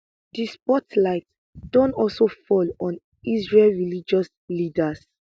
di spotlight don also fall on israel religious leaders